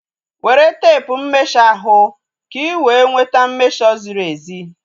Were teepu mmesho ahu ka ị wee nweta mmesho ziri ezi